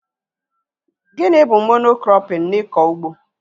Gịnị bụ Mono-krọpin n'ikọ ugbo?